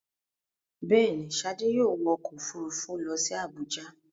Bẹ́ẹ̀ ni, Ṣadé yóò wọ ọkọ̀-òfurufú lọ sí Àbújá.